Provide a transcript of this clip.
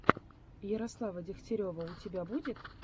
ярослава дегтярева у тебя будет